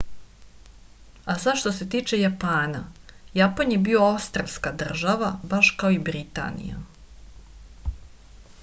a sad što se tiče japana japan je bio ostrvska država baš kao i britanija